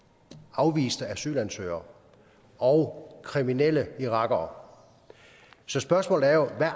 afviste asylansøgere og kriminelle irakere så spørgsmålet er jo hvad